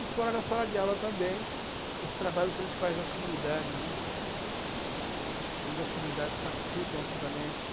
E fora da sala de aula também, os trabalhos que a gente faz nas comunidades, né, uhum, onde as comunidades participam ativamente.